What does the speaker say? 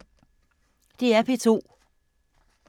DR P2